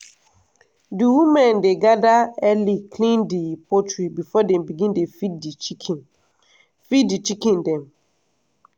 di women dey gather early clean di poultry before dem begin dey feed di chicken feed di chicken dem.